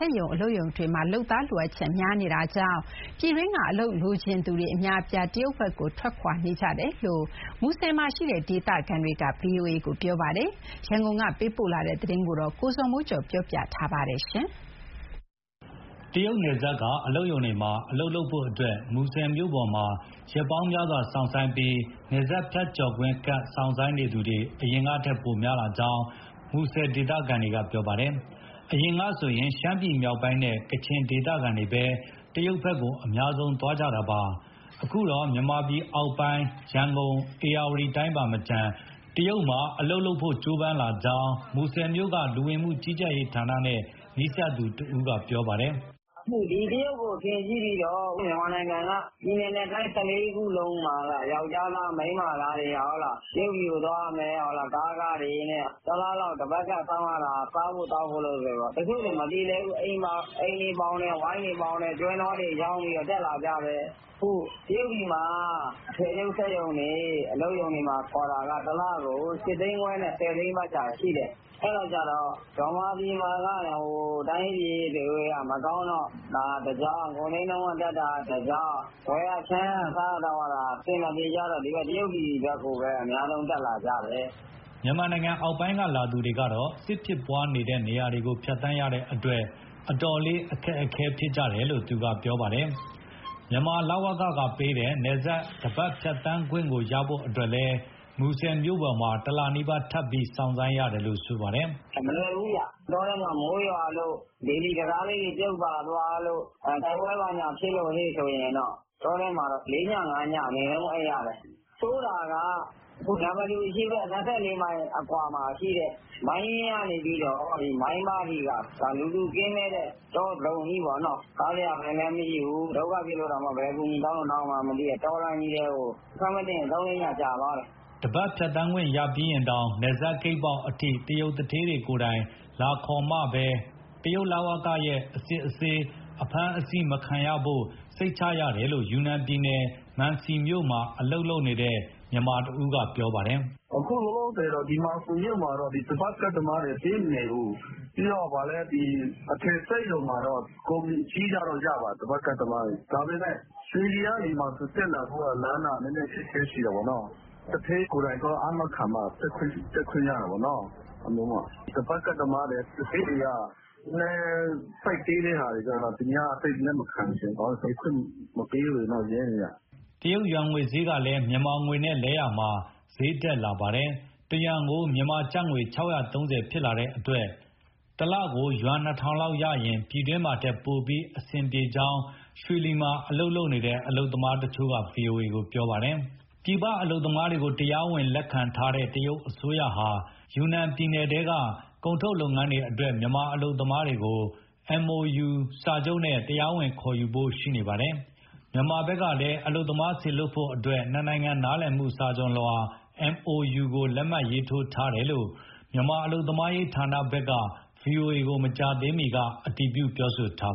က်ရုံ၊ အလုပ်ရုံတွေမှာ လုပ်သားလိုအပ်ချက်များနေတဲ့အတွက် မြန်မာပြည်တွင်းက အလုပ်လိုချင်သူအများအပြား တရုတ်ဘက်ကို ထွက်ခွာနေကြတယ်လို့ မူဆယ်မြို့မှာရှိတဲ့ ဒေသခံတွေက ဗွီအိုအေကို ပြောပါတယ်။ ရန်ကုန်က ပေးပို့လာတဲ့သတင်းကို ကိုဇော်မိုးကျော်က တင်ပြပေးထားပါတယ်။ တရုတ်နယ်စပ်က အလုပ်ရုံတွေမှာ အလုပ်လုပ်ဖို့ မူဆယ်မြို့ပေါ်မှာ ရက်ပေါင်းများစွာ စောင့်ဆိုင်းပြီး နယ်စပ်ဖြတ်ကျော်ခွင့်ကဒ် စောင့်ဆိုင်းနေသူတွေ အရင်ကထက် ပိုများလာကြောင်း မူဆယ်မြို့က ဒေသခံတွေက ပြောပါတယ်။ အရင်ကဆိုရင် ရှမ်းပြည်နယ်မြောက်ပိုင်းနဲ့ ကချင်ဒေသခံတွေပဲ တရုတ်ကို အများဆုံးသွားကြတာပါ။ အခုတော့ မြန်မာပြည်အောက်ပိုင်း ရန်ကုန်၊ ဧရာဝတီတိုင်းပါမကျန် တရုတ်မှာအလုပ်လုပ်ဖို့ ကြိုးပမ်းလာကြောင်း မူဆယ်မြို့က လူဝင်မှုကြီးကြပ်ရေးဌာနနဲ့ နီးစပ်သူတဦးက ပြောပါတယ်။ "တရုတ်ကိုအထင်ကြီးပြီး ဦးလေးတို့မြန်မာနိုင်ငံက ပြည်နယ်နဲ့တိုင်း ၁၄ ခုလုံးမှာ ယောကျ်ားသား၊ မိန်းမသားတွေ တရုတ်ပြည်ကို သွားရမယ်၊ ကားခတွေနဲ့ တလလောက် တပတ်ကဒ်စောင့်ရတာ၊ စားဖို့သောက်ဖို့နဲ့ဆိုတော့ တချို့ဆို မပြေလည်ဘူး။ အိမ်တွေပေါင်တယ်၊ ဝိုင်းတွေပေါင်တယ်၊ ကျွဲနွားတွေရောင်းပြီး တက်လာကြတယ်။ အခု တရုတ်ပြည်မှာက အထည်ချုပ်စက်ရုံတွေ၊ အလုပ်ရုံတွေမှာ ခေါ်တာက တလကို ၈ သိန်းခွဲနဲ့၊ ၁၀ သိန်းခွဲ ပတ်ချာလည်မှာရှိတယ်။ အဲဒီကျတော့ ဗမာပြည်မှာက တိုင်းရေးပြည်ရေးက မကောင်းတော့ ဒါကတကြောင်း၊ ကုန်စျေးနှုန်းတက်တာက တကြောင်း ဝယ်ရခြမ်းရ၊ စားရသောက်ရတာက အဆင်မပြေကြတော့ ဒီဘက် တရုတ်ပြည်ဘက်ကိုပဲ အများဆုံး တက်လာကြတယ်။" မြန်မာနိုင်ငံအောက်ပိုင်းက လာသူတွေကတော့ စစ်မက်ဖြစ်ပွားတဲ့ နေရာတွေကို ဖြတ်သန်းရတဲ့အတွက် အတော်လေး အခက်အခဲဖြစ်ကြတယ်လို့ သူကပြောပါတယ်။ မြန်မာ လဝကဌာနကပေးတဲ့ နယ်စပ်တပတ်ဖြတ်သန်းခွင့်ကိုရဖို့အတွက်လည်း မူဆယ်မြို့ပေါ်မှာ တလနီးပါး ထပ်ပြီး စောင့်ဆိုင်းရတယ်လို့ ပြောပါတယ်။ "မလွယ်ဘူးဗျ။ တောထဲမှာမိုးရွာလို့၊ ဘေလီတံတားလေးတွေ ပြုတ်ပါသွားလို့၊ တိုက်ပွဲဘာညာ ဖြစ်လို့ရှိရင် တောထဲမှာလေးည၊ ငါးည အနိမ့်ဆုံးအိပ်ရတယ်။။ နမ္မတူအရှေ့ဘက် ၂၄ မိုင်အကွာမှာရှိတဲ့ မိုင်းရင်ကနေပြီးတော့ မိုင်းပါးအထိက လူသူကင်းမဲ့တဲ့ တောဇုံကြီးပေါ့နော်။ စားစရာဆိုင်လည်းမရှိဘူး၊ ဒုက္ခဖြစ်လို့ ဘယ်အကူအညီတောင်းလို့ တောင်းရမှန်းမသိတဲ့ တောလမ်းကြီးထဲကို အခက်မသင့်ရင် ၃-၄ ည ကြာသွားတယ်။" တပတ်ကဒ်ရပြီးရင်တောင် နယ်စပ်ဂိတ်ပေါက်အထိ တရုတ်သူဌေးတွေကိုယ်တိုင် လာခေါ်မှပဲ တရုတ်လဝက ဝန်ထမ်းတွေရဲ့ အစစ်အဆေး၊ အဖမ်းအဆီးမခံရဖို့ စိတ်ချရတယ်လို့ ယူနန်ပြည်နယ်၊ မံစီမြို့မှာ အလုပ်လုပ်နေတဲ့ မြန်မာတဦးက ပြောပါတယ်။ "အခုလောလောဆယ် ဒီမှာ မြို့မှာတော့ တပတ်ကဒ်သမားတွေ ပေးမနေဘူး။ ပြီးတော့ အထည်စက်ရုံမှာတော့ ကုမ္ပဏီအကြီးကတော့ ရပါတယ် တပတ်ကဒ်သမားတွေ။ ဒါပေမဲ့ ရွှေလီကနေမှ တက်လာဖို့က လမ်းက နည်းနည်းအခက်အခဲရှိတာပေါ့။ သူဌေးကိုယ်တိုင် သွားအာမခံမှ တက်ခွင့်ရတာပေါ့နော်။ ဒီတပတ်ကဒ်သမားတွေ၊ သူဌေးတွေက နည်းနည်း ဆိုဒ်သေးတဲ့ဟာတွေက သိပ်လက်မခံချင်ဘူး ဘာလို့ဆို နေခွင့်မပေးဘူးလေ ရဲတွေက။" တရုတ် ယွမ်ငွေစျေးကလည်း မြန်မာငွေနဲ့လဲလှယ်တာမှာ စျေးတက်လာပါတယ်။ တယွမ်ကို မြန်မာကျပ်ငွေ ၆၃၀ ဖြစ်လာတဲ့အတွက် တလကို ယွမ် ၂,၀၀၀ လောက်ရရင် ပြည်တွင်းမှာထက် ပိုပြီးအဆင်ပြေကြောင်း ရွှေလီမှာ အလုပ်သွားလုပ်တဲ့ အလုပ်သမားတချို့က ဗွီအိုအေကို ပြောပါတယ်။ ပြည်ပအလုပ်သမားတွေကို တရားဝင် လက်မခံထားတဲ့ တရုတ်အစိုးရဟာ ယူနန်ပြည်နယ်ထဲက ကုန်ထုတ်လုပ်ငန်းတွေအတွက် မြန်မာအလုပ်မားတွေကို MoU စာချုပ်နဲ့ တရားဝင်ခေါ်ယူဖို့ ရှိနေပါတယ်။ မြန်မာဘက်က အလုပ်သမားစေလွှတ်ဖို့အတွက် နှစ်နိုင်ငံ နားလည်မှု MoU စာချုပ်ကို လက်မှတ်ရေးထိုးထားတယ်လို့ မြန်မာအလုပ်သမားရေး ဌာနဘက်က ဗွီအိုအေကို မကြာသေးခင်က အတည်ပြု ပြောထား